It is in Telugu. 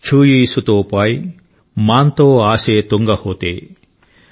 ఛుయీ శుతో పాయ్ మాన్ తో ఆశే తుంగ హోతే|